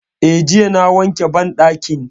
Eh, jiya na wanke banɗakin